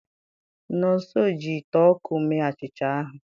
Nonso ji ite ọkụ mee achịcha ahụ.